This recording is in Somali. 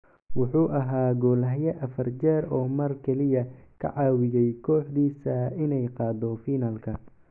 Wuxuu ahaa goolhaye afar jeer oo mar kaliya ka caawiyay kooxdiisa inay gaadho finalka.